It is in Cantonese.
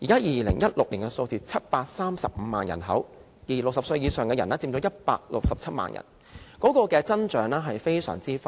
2016年 ，735 萬人口 ，60 歲以上的人佔167萬人，增長非常快。